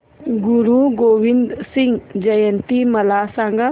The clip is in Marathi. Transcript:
गुरु गोविंद सिंग जयंती मला सांगा